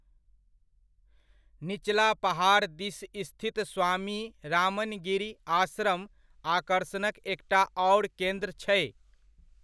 निचला पहाड़ दिस स्थित स्वामी रामनगिरी आश्रम, आकर्षणक एकटा आओर केन्द्र छै।